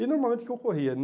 E normalmente o que ocorria?